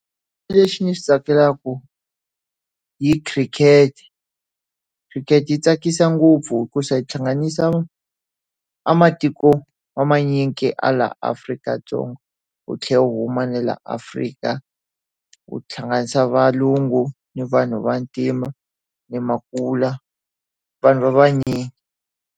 Lexi ndzi xi tsakelaka hi khirikete. Khirikete yi tsakisa ngopfu hikuva yi hlanganisa a matiko wa manyingi ya laha Afrika-Dzonga. Wu tlhela wu huma ni laha Africa. Wu hlanganisa valungu, ni vanhu vantima, ni makula vanhu va vanyingi.